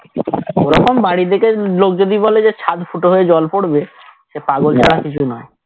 ওরকম বাড়ি দেখে লোক যদি বলে যে চাদ ফুটো হয়ে জল পড়বে সে পাগল ছাড়া আর কিছু নয়